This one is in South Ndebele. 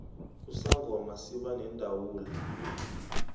usangoma siba nendawula